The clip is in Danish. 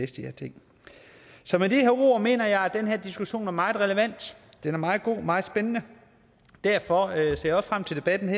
ting så med de her ord mener jeg at den her diskussion er meget relevant er meget god er meget spændende derfor ser jeg frem til debatten